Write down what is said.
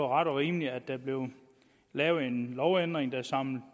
ret og rimeligt at der blev lavet en lovændring der samler